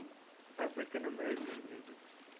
african american music